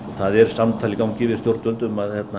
það er samtal í gangi við stjórnvöld um að